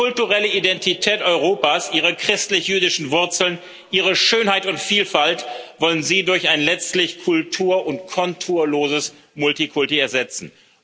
Die kulturelle Identität Europas, ihre christlich jüdischen Wurzeln, ihre Schönheit und Vielfalt wollen Sie durch ein letztlich kultur und konturloses Multikulti ersetzen.